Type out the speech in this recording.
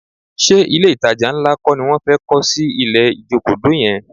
Ṣé ilé-ìtajà ńlá kọ́ ni wọ́n fẹ́ kọ́ sí ilẹ̀ Ìjokòdó yẹn?